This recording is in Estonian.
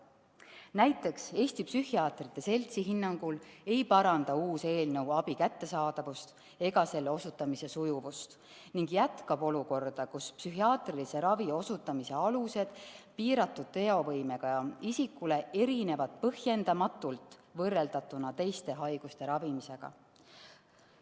Näiteks Eesti Psühhiaatrite Seltsi hinnangul ei paranda uus eelnõu abi kättesaadavust ega selle osutamise sujuvust ning jätkab olukorda, kus piiratud teovõimega isikule psühhiaatrilise ravi osutamise alused erinevad põhjendamatult sellest, mis on teiste haiguste ravimise korral.